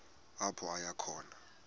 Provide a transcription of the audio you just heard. apho aya khona